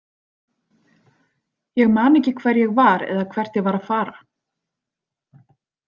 Ég man ekki hver ég var eða hvert ég var að fara.